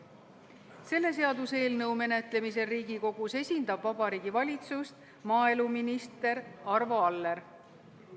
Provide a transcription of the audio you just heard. Selle seaduseelnõu menetlemisel Riigikogus esindab Vabariigi Valitsust maaeluminister Arvo Aller.